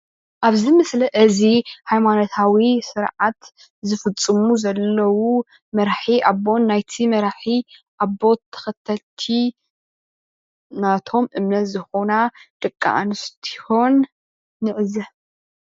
ኣብዚ ምስሊ እዚ ሃይማኖታዊ ስርዓት ዝፍፅሙ ዘለው መራሒ ኣቦ ናይቲ መራሒ ኣቦ ተከተልቲ ናቶም እምነት ዝኮና ደቂ ኣንስትዮን ንዕዘብ፡፡